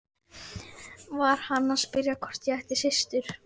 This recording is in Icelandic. Var hann að spyrja hvort ég ætti systur?